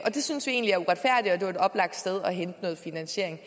det synes vi egentlig er uretfærdigt og det var et oplagt sted at hente noget finansiering